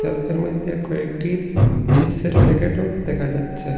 সেলফের মইধ্যে কয়েকটি চিপসের প্যাকেটও দেখা যাচ্ছে।